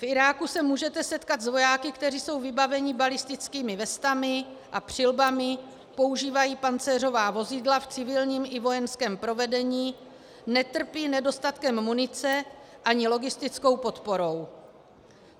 V Iráku se můžete setkat s vojáky, kteří jsou vybaveni balistickými vestami a přilbami, používají pancéřová vozidla v civilním i vojenském provedení, netrpí nedostatkem munice ani logistickou podporou.